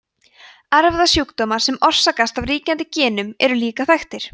erfðasjúkdómar sem orsakast af ríkjandi genum eru líka þekktir